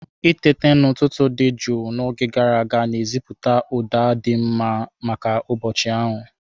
Itete n'ụtụtụ dị jụụ n'oge gara aga na-esetịpụ ụda dị mma maka ụbọchị ahụ.